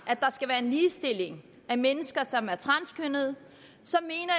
at mennesker som er transkønnede